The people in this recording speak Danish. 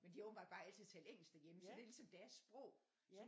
Men de har åbentbart bare altid talt engelsk derhjemme så det er ligesom deres sprog så